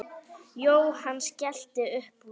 Jóhann skellti upp úr.